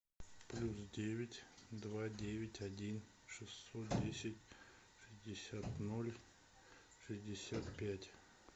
плюс девять два девять один шестьсот десять шестьдесят ноль шестьдесят пять